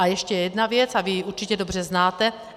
A ještě jedna věc, a vy ji určitě dobře znáte.